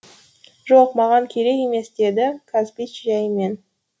жоқ маған керек емес деді казбич жәйімен